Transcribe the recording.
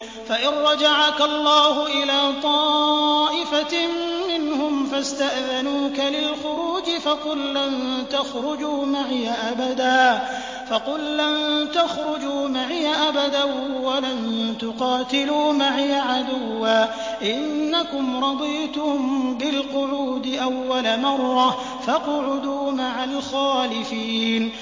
فَإِن رَّجَعَكَ اللَّهُ إِلَىٰ طَائِفَةٍ مِّنْهُمْ فَاسْتَأْذَنُوكَ لِلْخُرُوجِ فَقُل لَّن تَخْرُجُوا مَعِيَ أَبَدًا وَلَن تُقَاتِلُوا مَعِيَ عَدُوًّا ۖ إِنَّكُمْ رَضِيتُم بِالْقُعُودِ أَوَّلَ مَرَّةٍ فَاقْعُدُوا مَعَ الْخَالِفِينَ